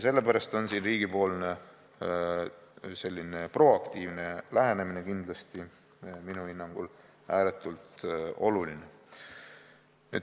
Sellepärast on riigi proaktiivne lähenemine minu hinnangul ääretult oluline.